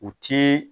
U ti